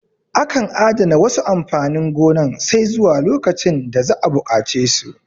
Akan adana wasu amfanin gonan sai zuwa lokacin da za'a buƙace su